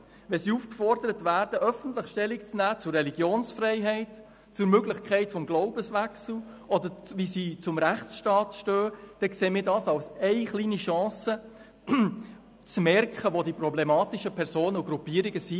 Wenn sie aufgefordert werden, öffentlich Stellung zu nehmen zur Religionsfreiheit, zur Möglichkeit des Glaubenswechsels oder dazu, wie sie zum Rechtsstaat stehen, dann sehen wir das als kleine Chance zu merken, wo die problematischen Personen und Gruppierungen sind.